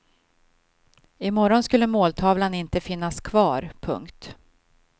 I morgon skulle måltavlan inte finnas kvar. punkt